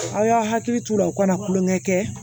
Aw y'aw hakili t'u la u kana tulonkɛ kɛ